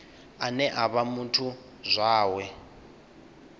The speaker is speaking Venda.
ane a vha muthu zwawe